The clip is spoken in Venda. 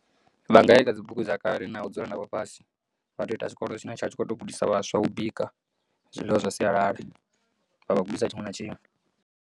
Vha nga ya kha dzibugu dza kale na u dzula navho fhasi vha to ita tshikolo tshine tsha vha tshi kho to gudisa vhaswa u bika zwiḽiwa zwa sialala vha vha gudisa tshiṅwe na tshiṅwe.